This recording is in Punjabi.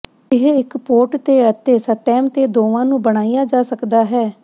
ਇਹ ਇੱਕ ਪੋਟ ਤੇ ਅਤੇ ਸਟੈਮ ਤੇ ਦੋਵਾਂ ਨੂੰ ਬਣਾਇਆ ਜਾ ਸਕਦਾ ਹੈ